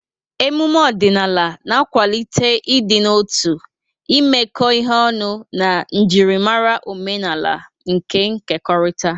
Ememe omenala na-akwalite ịdị n'otu, imekọ ihe ọnụ, na njirimara omenala nkekọrịta.